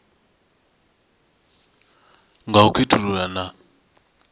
nga u sa khethulula na